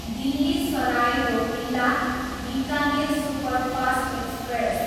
Delhi Sarai Rohilla, Bikaner superfast express